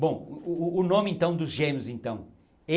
Bom, o o o nome, então, dos gêmeos, então.